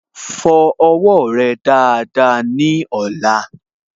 Fọ owó rẹ dáadáa ní ọ̀la